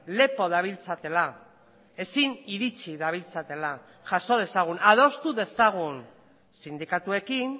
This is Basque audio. lepo dabiltzatela ezin iritsi dabiltzatela jaso dezagun adostu dezagun sindikatuekin